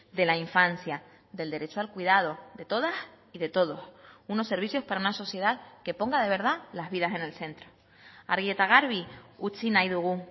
de la infancia del derecho al cuidado de todas y de todos unos servicios para una sociedad que ponga de verdad las vidas en el centro argi eta garbi utzi nahi dugu